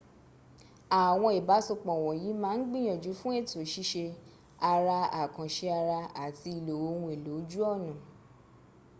àwọn ìbásòpọ̀ wọ́nyí ma ń gbìyànjú fún ètò ṣíṣe àrà àkànṣe àrà àti ìlò ohun èlò ojú ọ̀nà